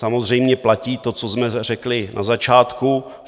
Samozřejmě, platí to, co jsme řekli na začátku.